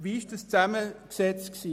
Wie sah die Zusammensetzung aus?